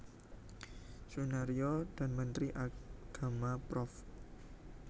Soenarjo dan Menteri Agama Prof